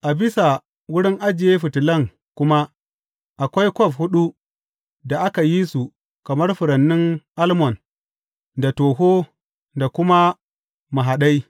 A bisa wurin ajiye fitilan kuma akwai kwaf huɗu da aka yi su kamar furannin almon da toho da kuma mahaɗai.